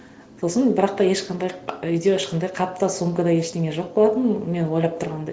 сосын бірақ та ешқандай үйде ешқандай хат та сумка да ештеңе жоқ болатын мен ойлап тұрғандай